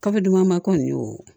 Kafo dumanba kɔni y'o